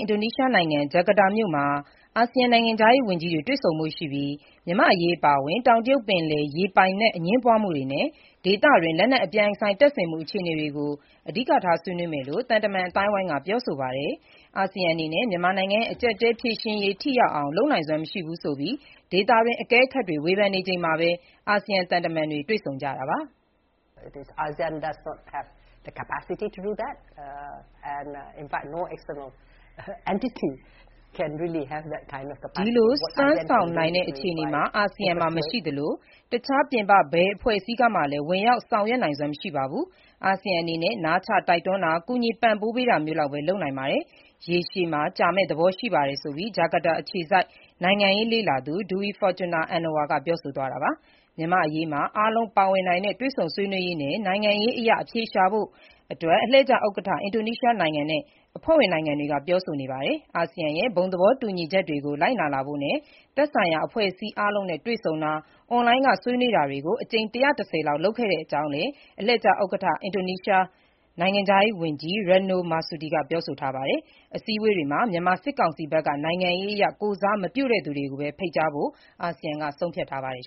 င်ဒိုနီးရှားနိုင်ငံ ဂျကာတာမြို့မှာ အာဆီယံနိုင်ငံခြားရေးဝန်ကြီးတွေ တွေ့ဆုံဖို့ရှိပြီး မြန်မာ့အရေးအပါအဝင်၊ တောင်တရုတ်ပင်လယ် ရေပိုင်နက် အငြင်းပွားမှုတွေနဲ့ ဒေသတွင်း လက်နက်အပြိုင်ဆိုင်တပ်ဆင်မှုအခြေတွေအနေ ဆွေးနွေးကြမယ့် အဓိကအကြောင်းအရာတွေ ဖြစ်မယ့်အကြောင်း သံတမန်အသိုင်းအဝိုင်းက ပြောဆိုပါတယ်။ ပြင်ပအင်အားစုဖြစ်တဲ့ အာဆီယံအနေနဲ့ မြန်မာနိုင်ငံ့ရဲ့ အကျပ်အတည်းဖြေရှင်းရေး ထိရောက်အောင် လုပ်နိုင်စွမ်းမရှိဘူးဆိုပြီး ဒေသတွင်း အကဲခတ်တွေ ဝေဖန်နေချိန်မှာပဲ အာဆီယံ သံတမန်တွေ တွေ့ဆုံကြတာပါ။ ဒီလို စွမ်းဆောင်နိုင်တဲ့ အခြေအနေ အာဆီယံမှာမရှိသလို တခြား ပြင်ပဘယ်အဖွဲ့အစည်းကမှလည်း ဝင်ရောက်ဆောင်ရွက်နိုင်စွမ်းမရှိပါဘူး။ အာဆီယံအနေနဲ့ နားချတိုက်တွန်းတာ၊ ကူညီပံ့ပိုးပေးတာမျိုးလောက်ပဲ လုပ်နိုင်ပါတယ်။ ရေရှည် ကြာမယ့်သဘောရှိပါတယ်ဆိုပြီး ဂျကာတာ အခြေစိုက် နိုင်ငံရေးလေ့လာသူ Dewi Fortuna Anwar က ပြောဆိုသွားတာပါ။ မြန်မာ့အရေးမှာ အားလုံးပါဝင်နိုင်တဲ့ တွေ့ဆုံဆွေးနွေးရေးနဲ့ နိုင်ငံရေးအရ အဖြေရှာနိုင်ဖို့ အလှည့်ကျ ဥက္ကဋ္ဌ အင်ဒိုနီးရှားနိုင်ငံနဲ့ အဖွဲ့ဝင်နိုင်ငံတွေ ပြောဆိုနေပါတယ်။ အာဆီယံရဲ့ ဘုံသဘောတူညီချက် တွေကိုကို ပိုပြီးလိုက်နာလာဖို့နဲ့ မြန်မာနိုင်ငံအတွင်း သက်ဆိုင်ရာ အဖွဲ့အစည်းအားလုံးနဲ့ တွေ့ဆုံတာ၊ အွန်လိုင်းက ဆွေးနွေးတာတွေ အကြိမ် ၁၁၀ လောက်လုပ်ခဲ့တဲ့အကြောင်းလည်း အလှည့်ကျ ဥက္ကဋ္ဌ အင်ဒိုနီးရှားနိုင်ငံခြားရေး ဝန်ကြီး Retno Marsudi က ပြောဆိုထားပါတယ်။ အစည်းအဝေးတွေမှာ မြန်မာစစ်ကောင်စီဘက်က နိုင်ငံရေးအရ ကိုယ်စားမပြုတဲ့သူကိုပဲ ဖိတ်ကြားဖို့ အာဆီယံက ဆုံးဖြတ်ထားပါတယ်